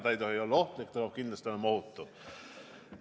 See ei tohi olla ohtlik, see peab kindlasti olema ohutu.